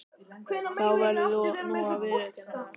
Þú verður nú að viðurkenna það.